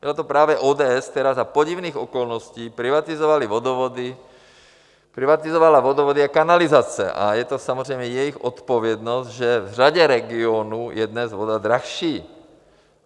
Byla to právě ODS, která za podivných okolností privatizovala vodovody a kanalizace, a je to samozřejmě jejich odpovědnost, že v řadě regionů je dnes voda dražší.